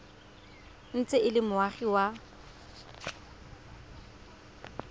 ntse e le moagi wa